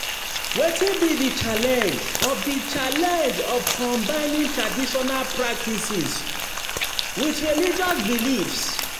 Wetin be di challenge of di challenge of combining traditional practices with religious beliefs?